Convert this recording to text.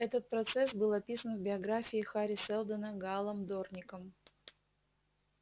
этот процесс был описан в биографии хари сэлдона гаалом дорником